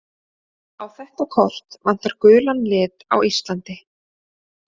Á þetta kort vantar gulan lit á Íslandi.